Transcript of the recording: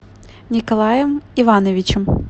николаем ивановичем